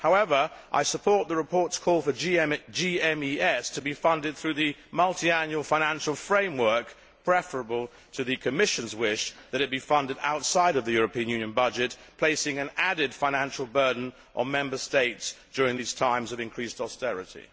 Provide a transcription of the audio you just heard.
However, I support the report's call for the GMES to be funded through the Multiannual Financial Framework, which is preferable to the Commission's wish that it be funded outside of the European Union budget, placing an added financial burden on Member States during these times of increased austerity.